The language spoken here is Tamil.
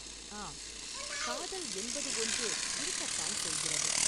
ஆம், காதல் என்பது ஒன்று இருக்கத்தான் செய்கிறது.